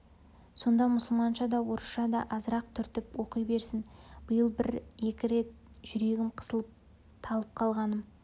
сонда мұсылманша да орысша да азырақ түртініп оқи берсін биыл бір-екі рет жүрегім қысылып талып қалғаным